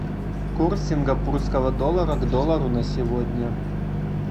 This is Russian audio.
курс сингапурского доллара к доллару на сегодня